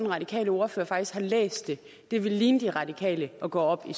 radikale ordfører faktisk har læst det det ville ligne de radikale at gå op i